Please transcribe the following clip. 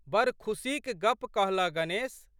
बड़ खुशीक गप कहलह गणेश।